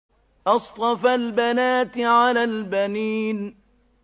أَصْطَفَى الْبَنَاتِ عَلَى الْبَنِينَ